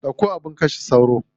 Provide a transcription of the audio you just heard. Ɗauko abin kashe sauro.